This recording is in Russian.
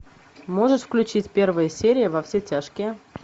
можешь включить первая серия во все тяжки